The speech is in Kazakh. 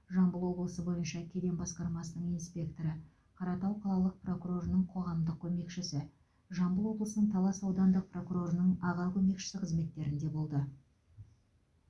жамбыл облысы бойынша кеден басқармасының инспекторы қаратау қалалық прокурорының қоғамдық көмекшісі жамбыл облысының талас аудандық прокурорының аға көмекшісі қызметтерінде болды